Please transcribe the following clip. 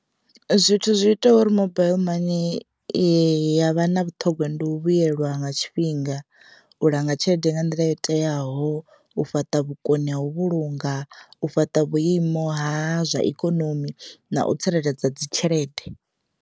Zwithu zwi itaho uri mobaiḽi mani yavha na vhuṱhongwa ndi u vhuyelwa nga tshifhinga u langa tshelede nga nḓila yo teaho, u fhaṱa vhukoni ha, u vhulunga, u fhaṱa vhuimo ha zwa ikonomi na u tsireledza dzi tshelede.